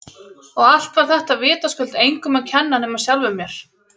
Og allt var þetta vitaskuld engum að kenna nema sjálfum mér!